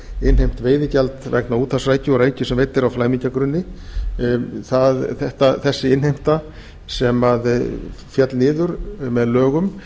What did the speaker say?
innheimt veiðigjald vegna úthafsrækju og rækju sem veidd er á flæmingjagrunni þessi innheimta sem féll niður með lögum